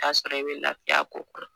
I y'a sɔrɔ i bi lafiya a ko kan